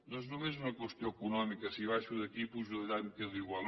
no és només una qüestió econòmica si baixo d’aquí i pujo d’allà em quedo igual